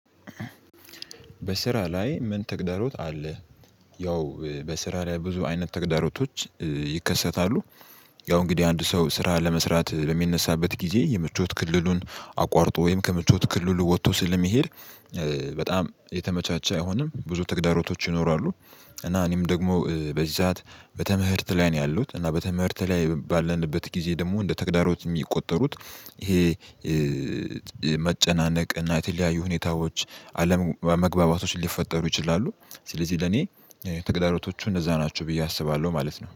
በስራ ላይ ምን ተግዳሮት አለ? ያው በስራ ላይ ብዙ አይነት ተግዳሮቶች ይከሰታሉ። ያው እንግዲህ አንድ ሰው ስራ ለመስራት በሚነሳበት ጊዜ የምቾት ክልሉን አቋርጦ ወይም ከምቾት ክልሉ ወጥቶ ስለሚሄድ። በጣም የተመቻቸ አይሆንም ብዙ ተግዳሮቶች ይኖራሉ። እና እኔም ደግሞ በዚህ ሰዓት በትምህርት ላይ ነው ያለሁት እና በትምህርት ላይ ባለንበት ጊዜ ደግሞ እንደ ተግዳሮት የሚቆጠሩት ይሄ መጨናነቅ እና የተለያዩ ሁኔታዎች አለመግባባቶች ሊፈጠሩ ይችላሉ። ስለዚህ ለኔ ተግዳሮቶቹ እነዛ ናቸው ብዬ አስባለሁ ማለት ነው